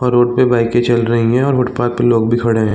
और रोड पे बाइके चल रहीं हैं और फुटपाथ पे लोग भी खड़े हैं।